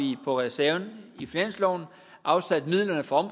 på reserven i finansloven afsat midlerne fra